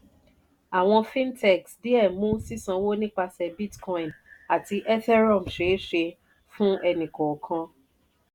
àwọn fintechs díẹ̀ mú sísánwó nipasẹ̀ bitcoin àti ethereum ṣeé ṣe fún ẹni-kọ̀ọ̀kan.